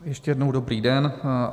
Ještě jednou dobrý den.